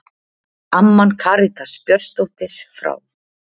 Amman Karitas Björnsdóttir frá